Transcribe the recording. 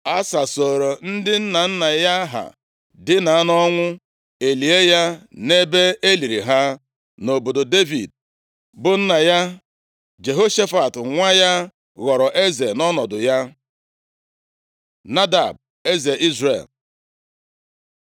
Asa sooro ndị nna nna ya ha dina nʼọnwụ, e lie ya nʼebe e liri ha, nʼobodo Devid, bụ nna ya. Jehoshafat nwa ya ghọrọ eze nʼọnọdụ ya. Nadab, eze Izrel